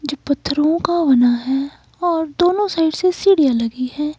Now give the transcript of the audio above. जो पत्थरों का बना है और दोनों साइड से सीढ़ियां लगी है।